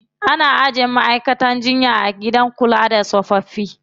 Ana ajiye ma'aikatan jinya a gidan kula da tsofaffi.